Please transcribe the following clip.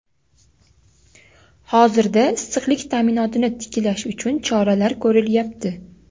hozirda issiqlik ta’minotini tiklash uchun choralar ko‘rilyapti.